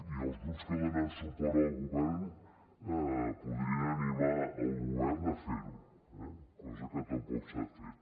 i els grups que donen suport al govern podrien animar el govern a fer ho eh cosa que tampoc s’ha fet